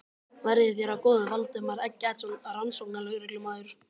Verði þér að góðu, Valdimar Eggertsson rannsóknarlögreglumaður.